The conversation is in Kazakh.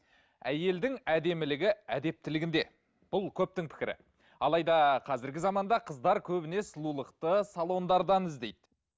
әйелдің әдемілігі әдептілігінде бұл көптің пікірі алайда қазіргі заманда қыздар көбіне сұлулықты салондардан іздейді